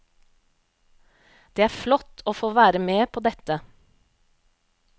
Det er flott å få være med på dette.